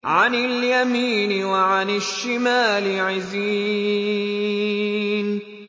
عَنِ الْيَمِينِ وَعَنِ الشِّمَالِ عِزِينَ